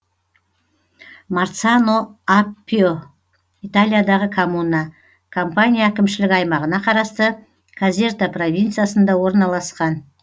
марцано аппьо италиядағы коммуна кампания әкімшілік аймағына қарасты казерта провинциясында орналасқан